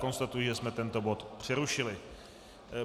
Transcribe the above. Konstatuji, že jsme tento bod přerušili.